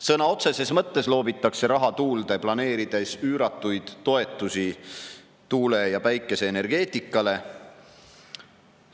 Sõna otseses mõttes loobitakse raha tuulde, planeerides üüratuid toetusi tuule- ja päikeseenergeetikale.